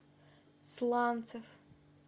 сланцев